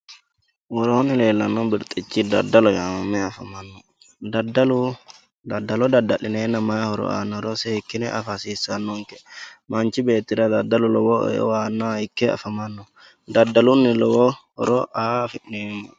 Worooni leelano afamanno dadaloho yinani dadalu dadalo dadalineena mayi horo anoro horo seekine afa hasisanonke manchi beetira dadalu lowo aanoha ike afamano dadaluni lowo horo aa afineemo